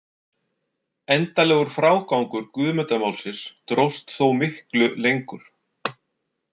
Endanlegur frágangur Guðmundarmálsins dróst þó miklu lengur.